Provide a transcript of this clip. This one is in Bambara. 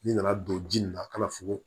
N'i nana don ji nin na ka na fugon